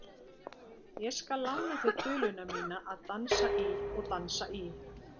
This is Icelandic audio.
Ég skal lána þér duluna mína að dansa í og dansa í.